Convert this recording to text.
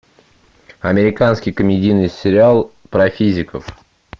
американский комедийный сериал про физиков